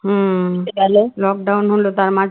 lockdown হল তার